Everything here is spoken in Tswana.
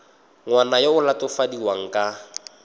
ngwana yo o latofadiwang ka